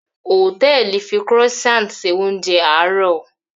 Hòtẹ́ẹ̀lì fi Croissant ṣe oúnjẹ àárọ̀